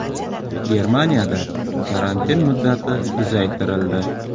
Germaniyada karantin muddati uzaytirildi.